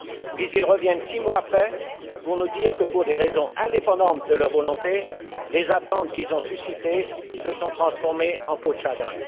Puis ils reviennent six mois après pour nous dire que, pour des raisons indépendantes de leur volonté, les attentes qu'ils ont suscitées se sont transformées en peau de chagrin.